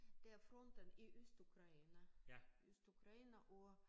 Det er fronten i Østukraine Østukraine og